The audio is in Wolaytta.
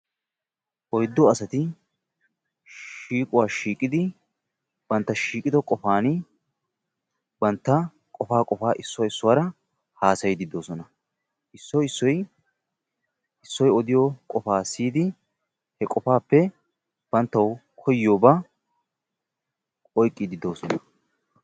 Oyddu asati shiiquwa shiiqidi bantta shiiqido qopan bantta qopaa issoy issuwaara haassayidi de'oosona. Issoy issoy issoy odiyooba siyyidi banttaw koyyiyooba oyqqidi dr'oosona.